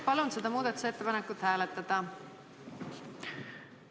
Palun seda muudatusettepanekut hääletada!